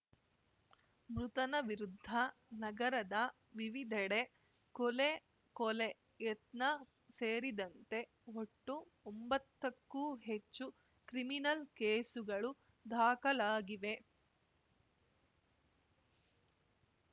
ಮೃತನ ವಿರುದ್ಧ ನಗರದ ವಿವಿಧೆಡೆ ಕೊಲೆ ಕೊಲೆ ಯತ್ನ ಸೇರಿದಂತೆ ಒಟ್ಟು ಒಂಬತ್ತಕ್ಕೂ ಹೆಚ್ಚು ಕ್ರಿಮಿನಲ್‌ ಕೇಸ್‌ಗಳು ದಾಖಲಾಗಿವೆ